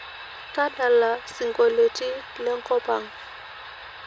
tadala siongoliotin lenkop ang